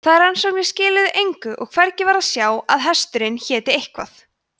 þær rannsóknir skiluðu engu og hvergi var að sjá að hesturinn héti eitthvað